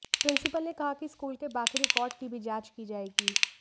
principal ने कहा कि स्कूल के बाकी रिकॉर्ड की भी जांच की जायेगी